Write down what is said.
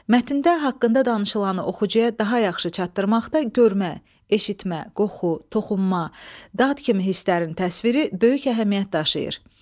Mətndə haqqında danışılanı oxucuya daha yaxşı çatdırmaqda görmə, eşitmə, qoxu, toxunma, dad kimi hisslərin təsviri böyük əhəmiyyət daşıyır.